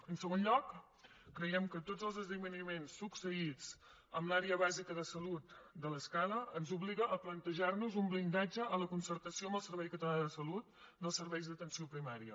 en segon lloc creiem que tots els esdeveniments succeïts en l’àrea bàsica de salut de l’escala ens obliguen a plantejar nos un blindatge a la concertació amb el servei català de salut dels serveis d’atenció primària